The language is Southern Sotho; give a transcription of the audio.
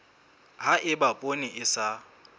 ha eba poone e sa